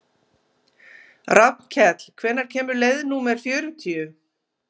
Rafnkell, hvenær kemur leið númer fjörutíu?